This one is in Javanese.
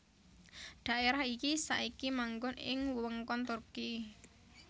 Dhaérah iki saiki manggon ing wewengkon Turki